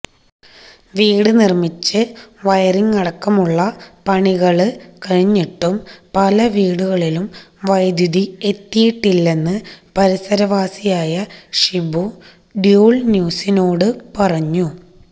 വീട് നിര്മ്മിച്ച് വയറിംഗ് അടക്കമുള്ള പണികള് കഴിഞ്ഞിട്ടും പല വീടുകളിലും വൈദ്യുതി എത്തിയിട്ടില്ലെന്ന് പരിസരവാസിയായ ഷിബു ഡൂള്ന്യൂസിനോട് പറഞ്ഞു